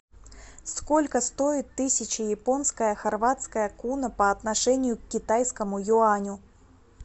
сколько стоит тысяча японская хорватская куна по отношению к китайскому юаню